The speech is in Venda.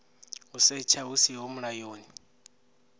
u setsha hu siho mulayoni